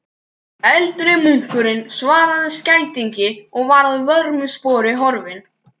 Eldri munkurinn svaraði skætingi og var að vörmu spori horfinn.